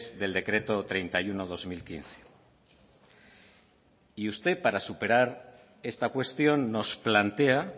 del decreto treinta y uno barra dos mil quince y usted para superar esta cuestión nos plantea